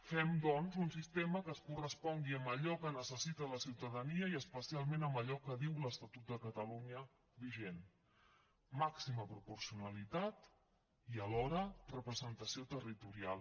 fem doncs un sistema que es correspongui amb allò que necessita la ciutadania i especialment amb allò que diu l’estatut de catalunya vigent màxima proporcionalitat i alhora representació territorial